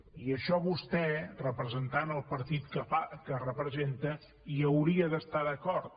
i això vostè representant el partit que representa hi hauria d’estar d’acord